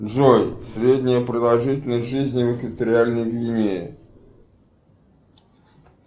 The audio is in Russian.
джой средняя продолжительность жизни в экваториальной гвинее